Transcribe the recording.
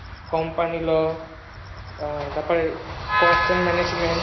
cost and management